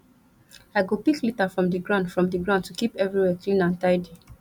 i go pick litter from di ground from di ground to keep everywhere clean and tidy